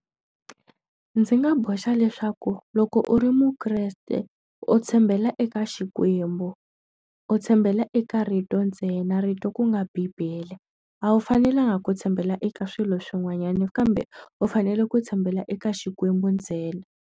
Ndzi nga boxa leswaku loko u ri mukreste u tshembela eka Xikwembu, u tshembela eka rito ntsena rito ku nga bibele. A wu fanelanga ku tshembela eka swilo swin'wanyana kambe u fanele ku tshembela eka Xikwembu ntsena.